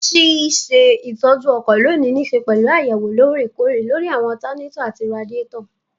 Ṣíṣe ìtọ́jú ọkọ̀ lónìí nííṣe pẹ̀lú àyẹ̀wò lóòrè kóòrè lóri àwọn ọtanátọ̀ àti radíàtọ̀